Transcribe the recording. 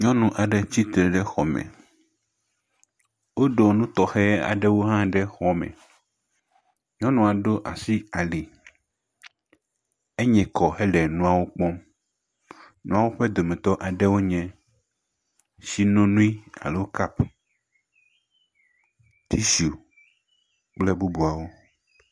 Nyɔnu aɖe tsitre ɖe xɔme wodo nu tɔxe aɖewo hã ɖe xɔame nyɔnua ɖo asi ali, enye kɔ hele nuwo kpɔm nuawo ƒe ɖewoe nye, tsinonoe alo kapu, tishu kple bubuawo.